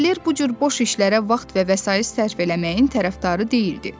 Kavaler bu cür boş işlərə vaxt və vəsait sərf eləməyin tərəfdarı deyildi.